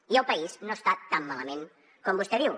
i el país no està tan malament com vostè diu